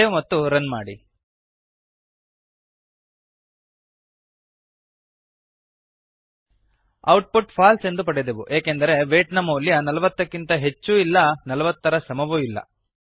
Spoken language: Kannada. ಸೇವ್ ಮತ್ತು ರನ್ ಮಾಡಿ ಔಟ್ ಪುಟ್ ಫಾಲ್ಸ್ ಎಂದು ಪಡೆದೆವು ಏಕೆಂದರೆ ವೈಟ್ ನ ಮೌಲ್ಯ ೪೦ ಕ್ಕಿಂತ ಹೆಚ್ಚೂ ಇಲ್ಲ ೪೦ ರ ಸಮವೂ ಇಲ್ಲ